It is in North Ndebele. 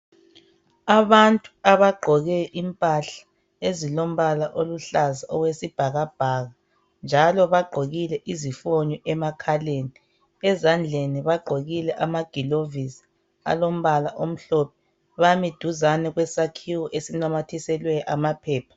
Abantu abagqoke impahla ezilombala oluhlaza okwesibhakabhaka. Njalo bagqokile izifonyo emakhaleni, ezandleni bagqokille ama gilovisi alombala omhlophe. Bami duzane kwesakhiwo esinamathiselwe amaphepha.